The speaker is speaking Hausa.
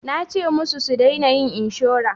Nace musu su dena yin inshora